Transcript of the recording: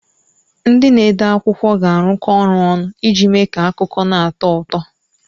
Ndị na-ede akwụkwọ ga-arụkọ ọrụ ọnụ iji mee ka akụkọ na-atọ ụtọ.